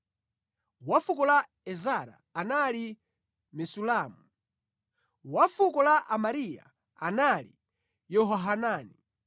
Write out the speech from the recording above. wa fuko la Ezara anali Mesulamu; wa fuko la Amariya anali Yehohanani;